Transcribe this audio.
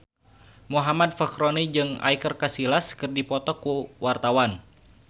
Muhammad Fachroni jeung Iker Casillas keur dipoto ku wartawan